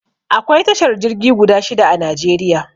Akwai tashar jirgi guda shida a Najeriya.